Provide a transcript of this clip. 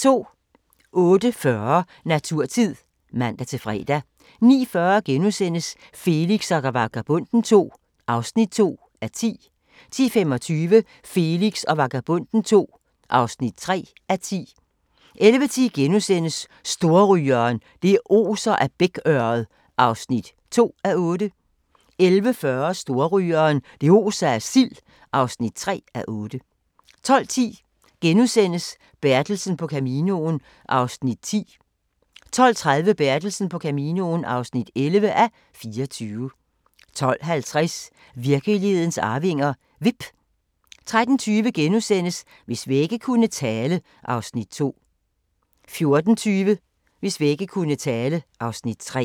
08:40: Naturtid (man-fre) 09:40: Felix og Vagabonden II (2:10)* 10:25: Felix og Vagabonden II (3:10) 11:10: Storrygeren – det oser af bækørred (2:8)* 11:40: Storrygeren – det oser af sild (3:8) 12:10: Bertelsen på Caminoen (10:24)* 12:30: Bertelsen på Caminoen (11:24) 12:50: Virkelighedens arvinger: Vipp 13:20: Hvis vægge kunne tale (Afs. 2)* 14:20: Hvis vægge kunne tale (Afs. 3)